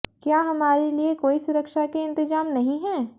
क्या हमारे लिए कोई सुरक्षा के इंतज़ाम नहीं हैं